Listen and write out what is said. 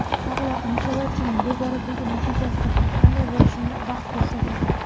Karlo Anchelottining bu boradagi natijasi qanday bo‘lishini vaqt ko‘rsatadi.